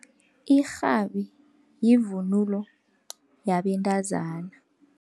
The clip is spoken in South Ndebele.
Irhabi yivunulo yabentazana.